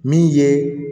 Min ye